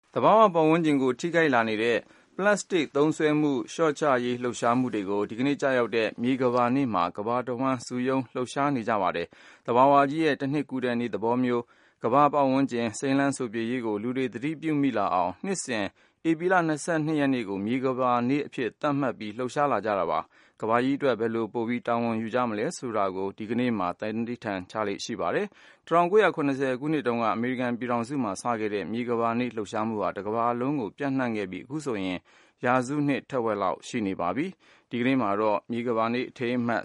သဘာဝပတ်ဝန်းကျင်ကို ထိခိုက်လာနေတဲ့ ပလစ်စတစ်သုံးစွဲမှု လျှော့ချရေးလှုပ်ရှားမှုတွေကို ဒီနေ့ကျရောက်တဲ့ မြေကမ္ဘာနေ့မှာ ကမ္ဘာအဝှမ်း စုရုံး လှုပ်ရှားနေကြပါတယ်။ သဘာဝကြီး ရဲ့ တနှစ်ကူးတဲ့နေ့သဘောမျိုး ကမ္ဘာပတ်ဝန်းကျင်စိမ်းလန်းစိုပြေရေးကို လူတွေ သတိပြုမိလာအောင် နှစ်စဉ် ဧပြီလ ၂၂ ရက်နေ့ကို မြေကမ္ဘာနေ့အဖြစ် သတ်မှတ်ဂုဏ်ပြုထားပါတယ်။ ကမ္ဘာကြီးအတွက် ဘယ်လို ပိုပြီး တာဝန်ယူကြမလဲဆိုတာမျိုးကို ကမ္ဘာမြေနေ့ သန္နိဋ္ဌာန်ဆိုပြီး ဒီနေ့မှာ ချမှတ်လေ့ရှိကြပါတယ်။ ၁၉၇၀ ခုနှစ်ကတည်းက အမေရိကန်ပြည်ထောင်စုမှာ စခဲ့တဲ့ မြေကမ္ဘာနေ့ လှုပ်ရှားမှုဟာ တကမ္ဘာလုံးကို ပျံနှံလာတာ အခုဆို ရာစုနှစ်တဝက်ရှိပါတော့မယ်။ ဒီနေ့မှာတော့ မြေကမ္ဘာနေ့ အထိမ်းအမှတ်